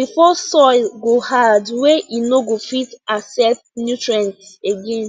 before soil go hard wey no go fit accept nutrients again